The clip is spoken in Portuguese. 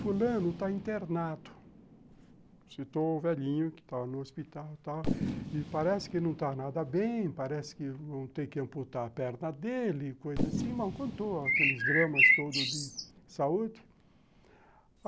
Fulano está internado, citou o velhinho que está no hospital e tal, e parece que não está nada bem, parece que vão ter que amputar a perna dele, coisa assim, mal contou, aqueles dramas todos de saúde.